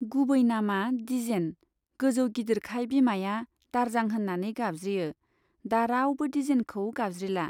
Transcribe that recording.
गुबै नामआ दिजेन , गोजौ गिदिरखाय बिमाया दारजां होन्नानै गाबज्रियो , दा रावबो दिजेनखौनो गाबज्रिला।